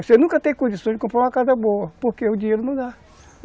Você nunca tem condição de comprar uma casa boa, porque o dinheiro não dá.